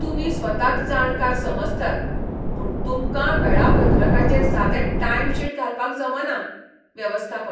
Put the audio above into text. तुमी स्वताक जाणकार समजतात, पूण तुमकां वेळापत्रकाचेर सादें टायमशीट घालपाक जमना. वेवस्थापक